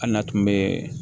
Hali n'a tun bɛ